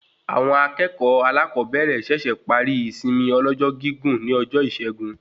Awọn akẹẹkọ alakobere ṣẹṣẹ parí ìsinmi ọlọ́jọ́ gígùn ní ọjọ Isẹgun